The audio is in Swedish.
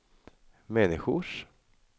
människors